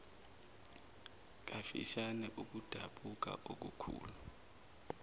kafishane ukudabuka okukhulu